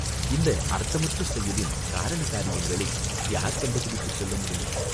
இந்த அர்த்தமற்ற செயலின் காரண காரியங்களை யார் கண்டுபிடித்துச் சொல்ல முடியும்?